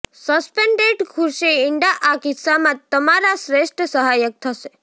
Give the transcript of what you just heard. suspended ખુરશી ઇંડા આ કિસ્સામાં તમારા શ્રેષ્ઠ સહાયક થશે